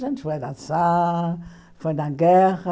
A gente foi dançar, foi na guerra.